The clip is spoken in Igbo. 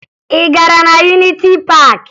Ị gara na Yuniti Paakị?